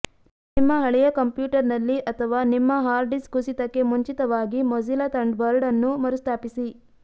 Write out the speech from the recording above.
ನಿಮ್ಮ ಹಳೆಯ ಕಂಪ್ಯೂಟರ್ನಲ್ಲಿ ಅಥವಾ ನಿಮ್ಮ ಹಾರ್ಡ್ ಡಿಸ್ಕ್ ಕುಸಿತಕ್ಕೆ ಮುಂಚಿತವಾಗಿ ಮೊಜಿಲ್ಲಾ ಥಂಡರ್ಬರ್ಡ್ ಅನ್ನು ಮರುಸ್ಥಾಪಿಸಿ